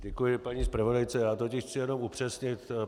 Děkuji paní zpravodajce, já totiž chci jenom upřesnit.